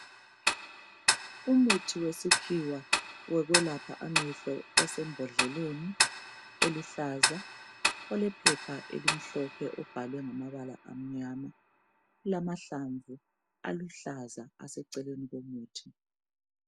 Umuthi wesikhiwa wokwelapha amehlo usembondleleni eluhlaza olephepha elimhlophe ubhalwe ngamabala amnyama kulamahlamvu aluhlaza aseceleni lomuthi.